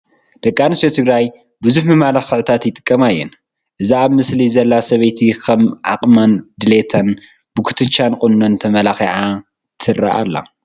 ደቂ ኣንስትዮ ትግራይ ብዙሕ መመላክዒታት ይጥቀማ እየን፡፡ እዛ ኣብ ምስሊ ዘላ ሰበይቲ ከም ዓቕማን ድሌታን ብኩትቻን ቁኖን ተመላኪዓ ትርአ ኣላ፡፡